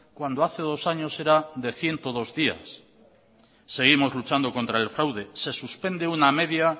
cuando hace dos años era de ciento dos días seguimos luchando contra el fraude se suspende una media